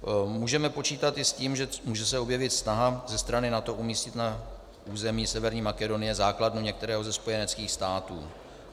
Můžeme počítat i s tím, že se může objevit snaha ze strany NATO umístit na území Severní Makedonie základnu některého ze spojeneckých států.